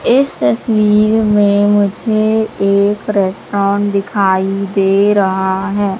इस तस्वीर में मुझे एक रेस्टोरेंट दिखाई दे रहा है।